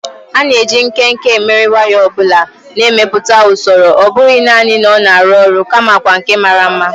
A na-eji nkenke emeri waya ọ bụla, na-emepụta usoro ọ bụghị nanị na ọ na-arụ ọrụ, kamakwa nke mara mma.